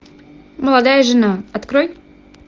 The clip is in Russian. молодая жена открой